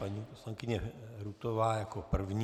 Paní poslankyně Rutová jako první.